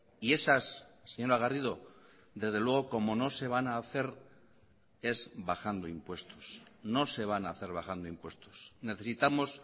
y esas señora garrido desde luego como no se van a hacer es bajando impuestos no se van a hacer bajando impuestos necesitamos